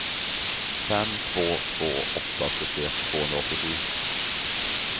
fem två två åtta sjuttioett tvåhundraåttiosju